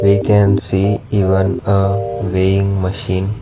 we can see even a weighing machine.